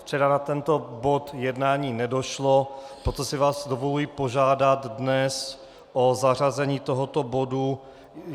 Včera na tento bod jednání nedošlo, proto si vás dovoluji požádat dnes o zařazení tohoto bodu.